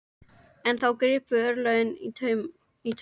En þá gripu örlögin í taumana.